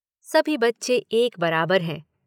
सभी बच्चे एक बराबर हैं।